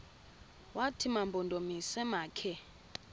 wathi mampondomise makhe